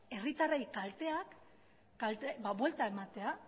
herritarren kalteei buelta ematea